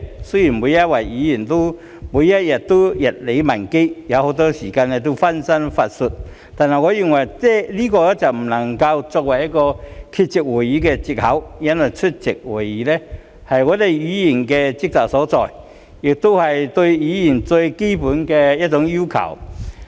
雖然每位議員每天都日理萬機，很多時候會分身乏術，但我認為這不能作為缺席會議的藉口，因為出席會議是議員的職責所在，亦是對議員的最基本要求。